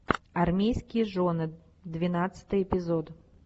армейские жены двенадцатый эпизод